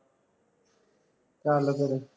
ਚੱਲ ਫੇਰ